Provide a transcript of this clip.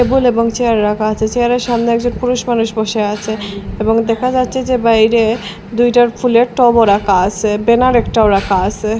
Table এবং chair রাখা আছে চেয়ারের সামনে একজন পুরুষ মানুষ বসে আছে এবং দেখা যাচ্ছে যে বাইরে দুইটার ফুলের টবও রাখা আসে ব্যানার একটাও রাখা আসে।